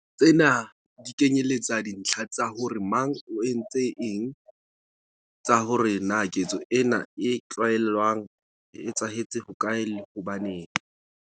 Tsena di kenyeletsa dintlha tsa hore mang o entse eng, tsa hore na ketso ena e tlalewang e etsahetse hokae, le hobaneng.